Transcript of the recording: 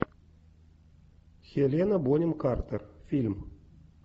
хелена бонем картер фильм